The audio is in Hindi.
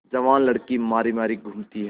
जवान लड़की मारी मारी घूमती है